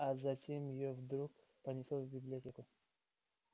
а зачем её вдруг понесло в библиотеку